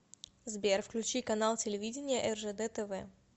сбер включи канал телевидения ржд тв